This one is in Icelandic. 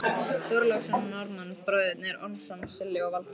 Þorláksson og Norðmann, Bræðurnir Ormsson, Silli og Valdi.